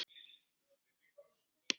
Við þökkum fyrir þetta.